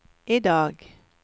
idag